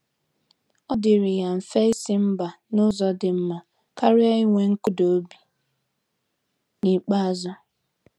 Ọ dịrị ya mfe isi mba n'ụzọ dị mma karịa inwe nkụda obi n'ikpeazụ.